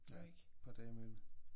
Ja et par dage imellem